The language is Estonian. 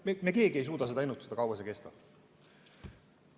Me keegi ei suuda ennustada, kui kaua see kestab.